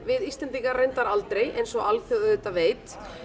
við Íslendingar aldrei eins og alþjóð veit